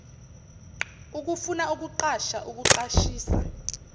ukufuna ukuqasha ukuqashisa